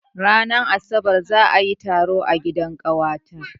Ranar asabar za a yi taro a gidan ƙawata.